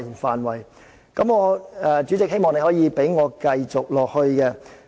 希望主席可以讓我繼續發言。